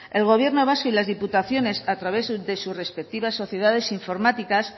el gobierno vasco y las diputaciones a través de sus respectivas sociedades informáticas